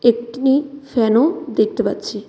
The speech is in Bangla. একটিনি ফ্যানও দেখতে পাচ্ছি.